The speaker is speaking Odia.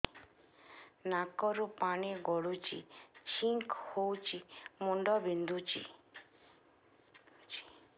ନାକରୁ ପାଣି ଗଡୁଛି ଛିଙ୍କ ହଉଚି ମୁଣ୍ଡ ବିନ୍ଧୁଛି